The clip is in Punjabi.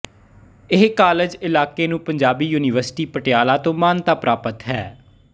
ਇਹ ਕਾਲਜ ਇਲਾਕੇ ਨੂੰ ਪੰਜਾਬੀ ਯੂਨੀਵਰਸਿਟੀ ਪਟਿਆਲਾ ਤੋਂ ਮਾਨਤਾ ਪ੍ਰਾਪਤ ਹੈ